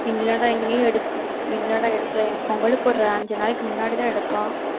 இல்லடா, எங்கயும் எடுக்க இல்லடா எடுக்கல பொங்கலுக்கு ஒரு அஞ்சு நாளைக்கு முன்னாடிதான் எடுப்போம்